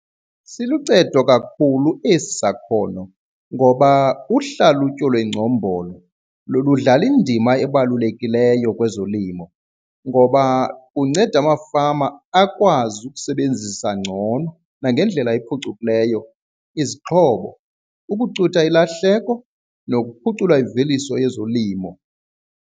Siluncedo kakhulu esi sakhono ngoba uhlalutyo lwengcombolo ludlala indima ebalulekileyo kwezolimo, ngoba kunceda amafama akwazi ukusebenzisa ngcono nangendlela ephucukileyo izixhobo ukucutha ilahleko nokuphucula imveliso yezolimo.